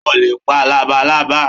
O ò lè pa labalábá